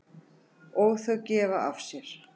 Og þau gefa af sér.